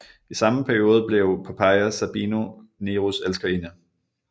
I samme periode blev Poppaea Sabina Neros elskerinde